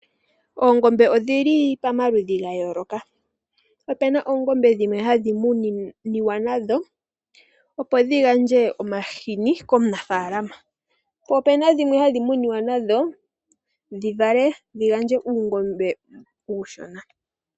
Oongombe odhili pomaludhi ga yoloka, opuna oongombe dhimwe hadhi muniwa nadho opo dhi gandje omahini komunafalama, po opuna dhimwe hadhi muniwa nadho dhi vule dhi vale uutana.